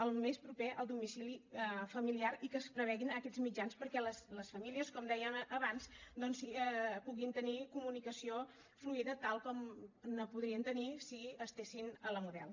el més proper al domicili familiar i que es prevegin aquests mitjans perquè les famílies com dèiem abans doncs puguin tenir comunicació fluida tal com ne podrien tenir si estiguessin a la model